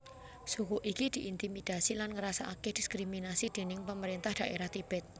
Suku iki diintimidasi lan ngrasakake diskriminasi déning pamarentah dhaerah Tibet